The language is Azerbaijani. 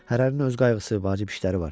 Hərənin öz qayğısı, vacib işləri var.